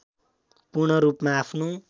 पूर्ण रूपमा आफ्नो